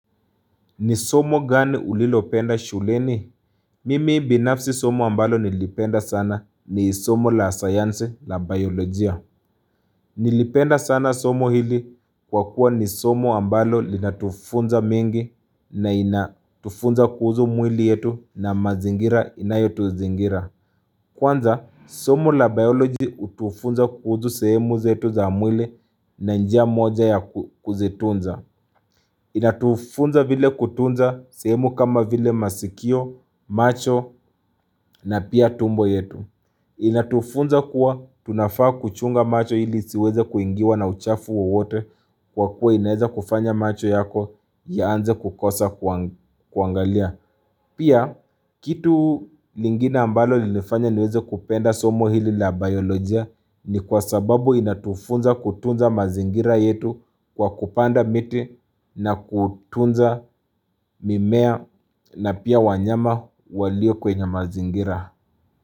Ni somo gani ulilopenda shuleni? Mimi binafsi somo ambalo nilipenda sana ni somo la sayansi la biolojia Nilipenda sana somo hili kwa kuwa ni somo ambalo linatufunza mengi na inatufunza kuhusu mwili yetu na mazingira inayotuzingira Kwanza somo la biolojia hutufunza kuhusu sehemu zetu za mwili na njia moja ya kuzitunza Inatufunza vile kutunza sehemu kama vile masikio, macho na pia tumbo yetu Inatufunza kuwa tunafaa kuchunga macho ili isiweze kuingiwa na uchafu wowote Kwa kuwa inaeza kufanya macho yako yaanze kukosa kuangalia Pia kitu lingine ambalo lilinjifanya niweze kupenda somo hili la biolojia ni kwa sababu inatufunza kutunza mazingira yetu kwa kupanda miti na kutunza mimea na pia wanyama walio kwenye mazingira.